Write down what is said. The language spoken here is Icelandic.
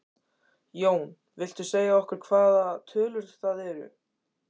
Jón: Viltu segja okkur hvaða tölur það eru?